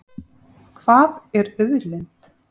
Hvað er auðlind?